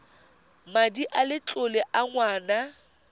madi a letlole a ngwana